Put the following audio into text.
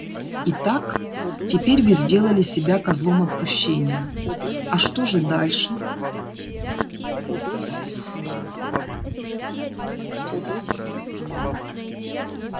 итак теперь вы сделали себя козлом отпущения а что же дальше